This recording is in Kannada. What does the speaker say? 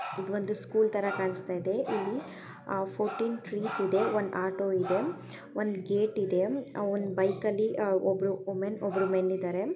ಇದು ಸ್ಕೂಲ್ ತರ ಕಣಿಸ್ತಾ ಇದೆ ಇಲ್ಲಿ ಆ ಫೋರ್ಟೀನ್ ಟ್ರೀಸ್ ಇದೆ ಒಂದು ಆಟೋ ಇದೆ ಒಂದು ಗೇಟ್ ಇದೆ ಅ- ಒಂದು ಬೈಕ್ ಅಲ್ಲಿ ಒಬ್ಬರು ವೋಮೆನ್ ಒಬ್ಬರು ಮೆನ್ ಇದರೆ.